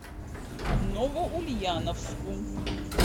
новоульяновску